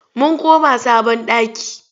Mun koma sabon ɗaki.